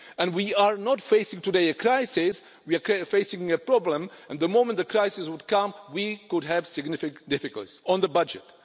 And we are not facing today a crisis, we are facing a problem, and the moment the crisis would come, we could have significant difficulties on the budget.